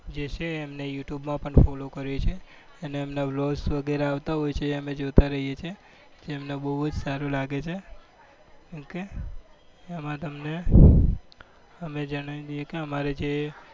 જે છે એમને યુ ટુબ માં પણ follow કરીએ છીએ અને એમના vlog વગેરે આવતા હોય છે એ અમે જોતા રહીએ છીએ. જે અમને બહુ જ સારું લાગે છે ઓકે એમાં તમને અમે જણાવી દઈએ કે અમારે જે